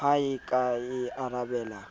ha a ka a arabela